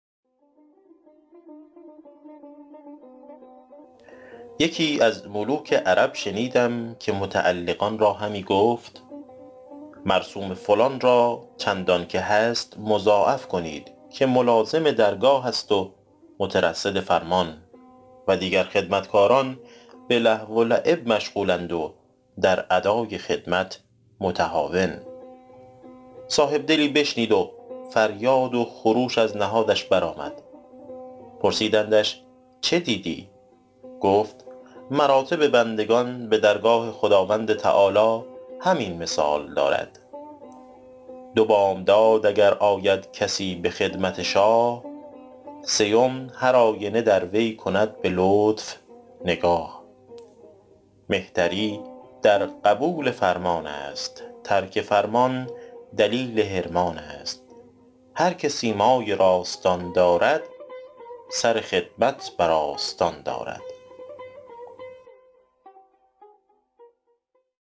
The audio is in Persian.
یکی از ملوک عرب شنیدم که متعلقان را همی گفت مرسوم فلان را چندان که هست مضاعف کنید که ملازم درگاه است و مترصد فرمان و دیگر خدمتکاران به لهو و لعب مشغول اند و در ادای خدمت متهاون صاحب دلی بشنید و فریاد و خروش از نهادش بر آمد پرسیدندش چه دیدی گفت مراتب بندگان به درگاه خداوند تعالیٰ همین مثال دارد دو بامداد اگر آید کسی به خدمت شاه سیم هرآینه در وی کند به لطف نگاه مهتری در قبول فرمان است ترک فرمان دلیل حرمان است هر که سیمای راستان دارد سر خدمت بر آستان دارد